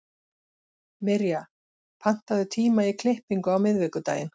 Mirja, pantaðu tíma í klippingu á miðvikudaginn.